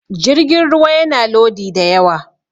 jirgin ruwa yana Lodi da yawa